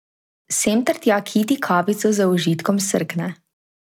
Sem ter tja Kiti kavico z užitkom srkne.